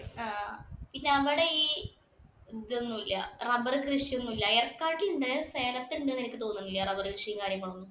ആഹ് പിന്നെ അവിടെ ഈ റബ്ബർ കൃഷി ഒന്നുമില്ല. ഏർക്കാട്ടിലുണ്ട്. സേലത്ത് ഉണ്ട് എന്ന് എനിക്ക് തോന്നുന്നില്ല റബ്ബർ കൃഷിയും കാര്യങ്ങളും ഒക്കെ.